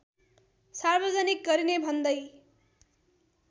सार्वजनिक गरिने भन्दै